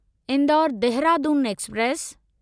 Indore Dehradun express